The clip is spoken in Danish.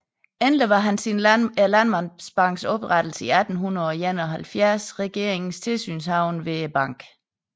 Endelig var han siden Landmandsbankens oprettelse 1871 regeringens tilsynshavende ved banken